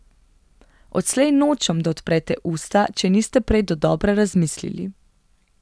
Odslej nočem, da odprete usta, če niste prej dodobra razmislili.